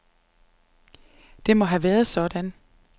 Det må have været sådan.